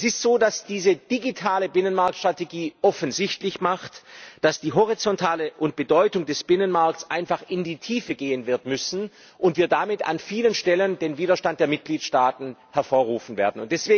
Es ist so, dass diese digitale Binnenmarktstrategie offensichtlich macht, dass die horizontale Bedeutung des Binnenmarkts einfach in die Tiefe wird gehen müssen und wir damit an vielen Stellen den Widerstand der Mitgliedstaaten hervorrufen werden.